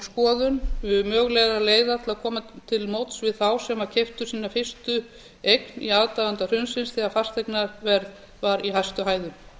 skoðun mögulegra leiða til að koma til móts við þá sem keyptu sína fyrstu eign í aðdraganda hrunsins þegar fasteignaverð var í hæstu hæðum